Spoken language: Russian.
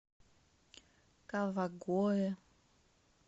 кавагоэ